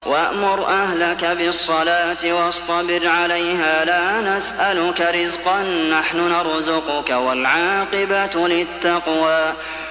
وَأْمُرْ أَهْلَكَ بِالصَّلَاةِ وَاصْطَبِرْ عَلَيْهَا ۖ لَا نَسْأَلُكَ رِزْقًا ۖ نَّحْنُ نَرْزُقُكَ ۗ وَالْعَاقِبَةُ لِلتَّقْوَىٰ